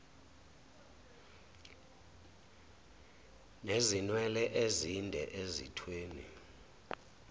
nezinwele ezinde ezithweni